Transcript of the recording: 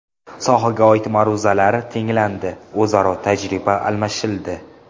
Sohaga oid ma’ruzalar tinglandi, o‘zaro tajriba almashildi.